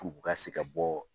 K'u ka se ka bɔ